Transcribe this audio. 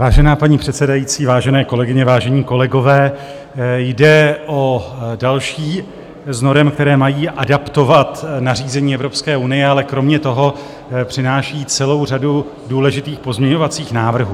Vážená paní předsedající, vážené kolegyně, vážení kolegové, jde o další z norem, které mají adaptovat nařízení Evropské unie, ale kromě toho přináší celou řadu důležitých pozměňovacích návrhů.